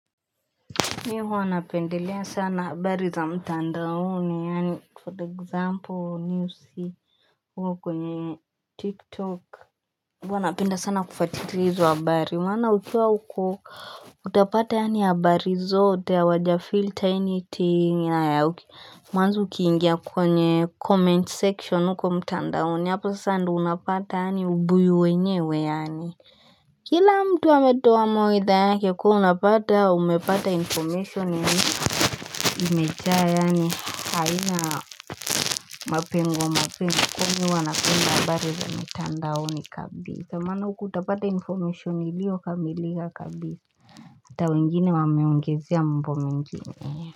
Mi huwa wanapendelea sana habari za mtandauni, yani for the example, news uko kwenye tiktok. Huwa napenda sana kufatilia hizo habari. Maana ukiwa uko, utapata yaani habari zote ya wajafilta anything na ya mwanzo ukiingia kwenye comment section uko mtandaoni. Hapo sandu unapata ya ubuyu wenyewe yani. Kila mtu ametoa mawaidha yake kuwa napata umepata information ya imejaa yaani haina mapengo mapengo kumi wanapenda habari za mitandaoni kabisa maana huku utapata information ilio kamilika kabisa Ata wengine wameongezea mambo mengine.